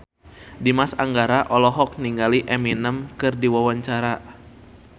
Dimas Anggara olohok ningali Eminem keur diwawancara